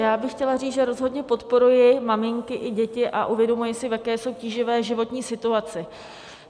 Já bych chtěla říct, že rozhodně podporuji maminky i děti a uvědomuji si, v jaké jsou tíživé životní situaci.